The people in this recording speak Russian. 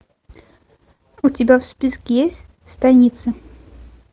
у тебя в списке есть станица